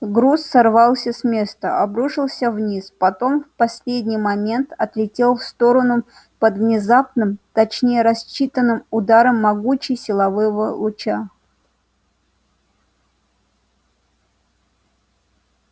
груз сорвался с места обрушился вниз потом в последний момент отлетел в сторону под внезапным точнее рассчитанным ударом могучей силового луча